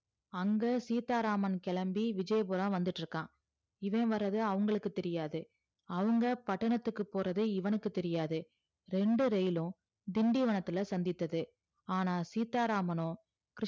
அங்க சீத்தாராமன் கிழம்பி விஜயபுரம் வந்துட்டு இருக்கா இவன் வரது அவுங்களுக்கு தெரியாது அவுங்கபட்டணத்துக்கு போறது இவனுக்கு தெரியாது இரண்டு இரயிலும் திண்டிவனத்துல சந்திதது ஆனா சீத்தாராமனோ கிருஸ்